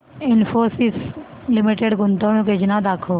Infosys limited गुंतवणूक योजना दाखव